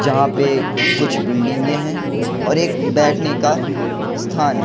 जहां पे कुछ बिल्डिंगे हैं और एक बैठने का स्थान है।